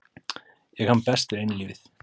Ég kann best við einlífið.